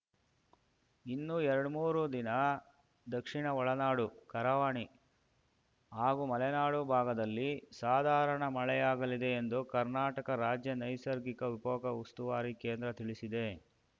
ಇನ್ನೂ ಎರಡ್ಮೂರು ದಿನ ದಕ್ಷಿಣ ಒಳನಾಡು ಕರಾವಳಿ ಹಾಗೂ ಮಲೆನಾಡು ಭಾಗದಲ್ಲಿ ಸಾಧಾರಣ ಮಳೆಯಾಗಲಿದೆ ಎಂದು ಕರ್ನಾಟಕ ರಾಜ್ಯ ನೈಸಗಿಕ ವಿಕೋಪ ಉಸ್ತುವಾರಿ ಕೇಂದ್ರ ತಿಳಿಸಿದೆ